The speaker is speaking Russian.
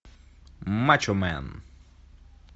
мачомен